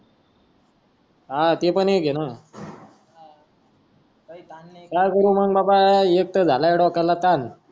हा ते पन एक है ना काय करुमंग बाबा ऐकता झालाय डोक्याला ताण